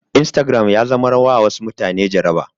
Instagram ya zamar wa wasu mutane jaraba